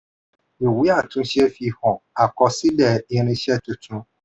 ìwé àtúnṣe fi hàn àkọsílẹ̀ irinṣẹ́ tuntun.